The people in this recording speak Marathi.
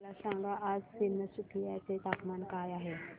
मला सांगा आज तिनसुकिया चे तापमान काय आहे